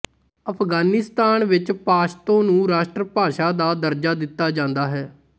ਅਫਗਾਨਿਸਤਾਨ ਵਿੱਚ ਪਸ਼ਤੋ ਨੂੰ ਰਾਸ਼ਟਰ ਭਾਸ਼ਾ ਦਾ ਦਰਜਾ ਦਿੱਤਾ ਜਾਂਦਾ ਹੈ